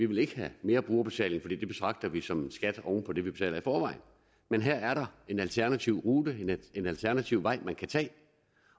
vil have mere brugerbetaling fordi det betragter vi som en skat oven på det vi betaler i forvejen men her er der en alternativ rute en alternativ vej man kan tage